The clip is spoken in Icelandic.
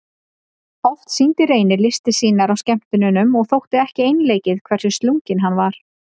Oft sýndi Reynir listir sínar á skemmtunum og þótti ekki einleikið hversu slunginn hann var.